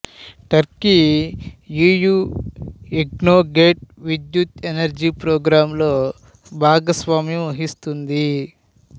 Turkey E U ఇగ్నోగేట్ విద్యుత్తు energy ప్రోగ్రాంలో భాగస్వామ్యం వహిస్తుంది